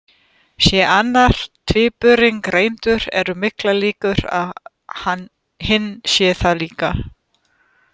Sé annar tvíburinn greindur eru miklar líkur á að hinn sé það líka.